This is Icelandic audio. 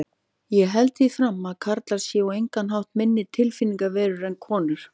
Ég held því fram að karlar séu á engan hátt minni tilfinningaverur en konur.